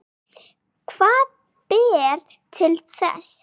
Hvað ber til þess?